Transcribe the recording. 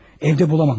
Evdə tapa bilməmiş.